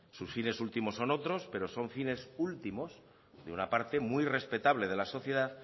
sus fines últimos son otros pero son fines últimos de una parte muy respetable de la sociedad